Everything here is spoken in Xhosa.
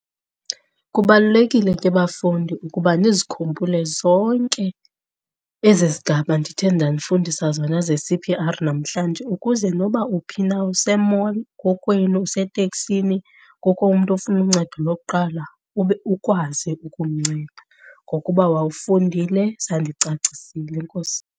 Kubalulekile ke bafundi ukuba nizikhumbule zonke ezi zigaba ndithe ndanifundisa zona ze-C_P_R namhlanje ukuze nokuba uphi na use-nall, kokwenu, useteksini, kukho umntu ofuna uncedo lokuqala ube ukwazi ukumnceda ngokuba wawufundile, zandicacisile. Enkosi.